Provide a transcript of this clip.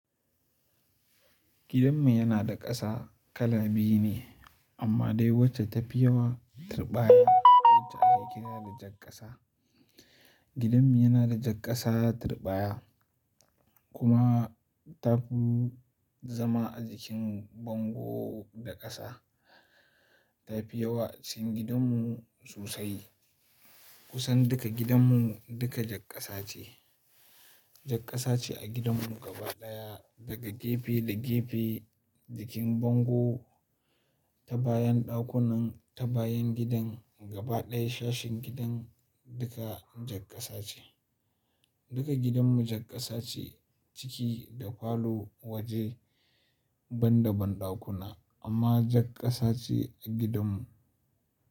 Gidanmu yana da ƙasa kala biyu ne amma dai wacce ta fi yawa tirɓaya wacce ake kira da jakƙasa. Gidanmu yana da jakƙasa tirɓaya kuma ta fi zama a jikin bango da ƙasa. Ta fi yawa cikin gidanmu sosai. Kusan duka gidanmu duka jakƙasa ce. Jakƙasa ce a gidanmu gaba ɗaya daga gefe da gefe, jikin bango, ta bayan ɗakunan, ta bayan gidan gaba ɗaya sashin gidan duka jakƙasa ce. Duka gidanmu jakƙasa ce ciki da falo waje ban da banɗakuna amma jakƙasa ce a gidanmu.